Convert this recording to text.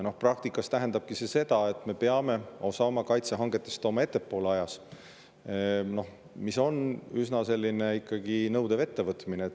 Ja praktikas tähendabki see seda, et me peame osa oma kaitsehangetest tooma ajas ettepoole, mis on ikkagi üsna nõudev ettevõtmine.